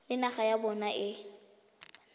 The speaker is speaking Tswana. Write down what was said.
le naga ya bona e